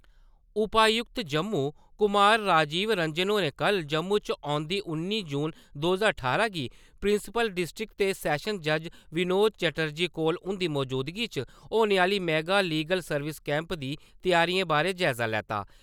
उपायुक्त जम्मू कुमार राजिव रंजन होरें कल जम्मू च ओन्दी उन्नी जून दो ज्हार ठारां गी प्रिंसिपल डिस्ट्रक ते सैशन जज विनोद चेटरजी कौल उन्दी मौजूदगी च होने आले मेगा लिगल सर्विस कैम्प दी त्यारियें बारै जायज़ा लैता ।